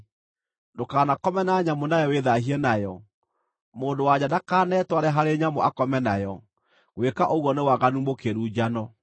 “ ‘Ndũkanakome na nyamũ nawe wĩthaahie nayo. Mũndũ-wa-nja ndakanetware harĩ nyamũ akome nayo; gwĩka ũguo nĩ waganu mũkĩru njano.